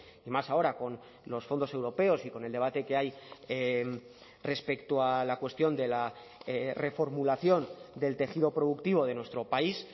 y más ahora con los fondos europeos y con el debate que hay respecto a la cuestión de la reformulación del tejido productivo de nuestro país